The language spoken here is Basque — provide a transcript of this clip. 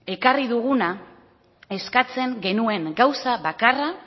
ekarri duguna eskatzen genuen gauza bakarra